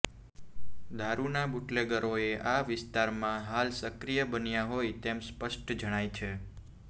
દારૃના બૂટલેગરો આ વિસ્તારમાં હાલ સક્રીય બન્યા હોય તેમ સ્પષ્ટ જણાય છે